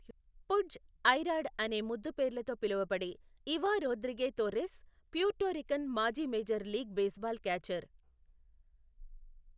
పుడ్జ్ , I Rod అనే ముద్దుపేర్లతో పిలవబడే ఇవా రోద్రిగే తోర్రెస్, ప్యూర్టోరికన్ మాజీ మేజర్ లీగ్ బేస్బాల్ క్యాచర్.